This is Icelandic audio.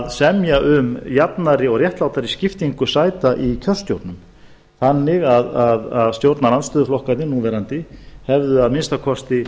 að semja um jafnari og réttlátari skiptingu sæta í kjörstjórnum þannig að stjórnarandstöðuflokkarnir núverandi hefðu að minnsta kosti